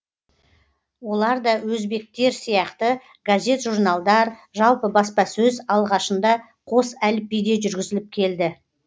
оларда да өзбектер сияқты газет журналдар жалпы баспасөз алғашында қос әліпбиде жүргізіліп келді